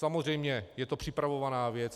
Samozřejmě je to připravovaná věc.